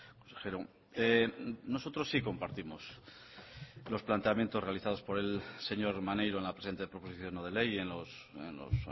consejero nosotros sí compartimos los planteamientos realizados por el señor maneiro en la presente proposición no de ley en los